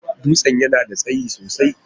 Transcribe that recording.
Dutsen yana da tsayi sosai.